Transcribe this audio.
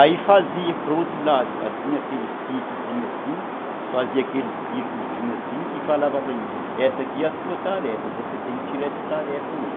Aí fazia para o outro lado, assim, aqueles piquezinhos assim, fazia aqueles círculozinhos assim e falava para mim, essa aqui é a sua tarefa, você tem que tirar essa tarefa hoje.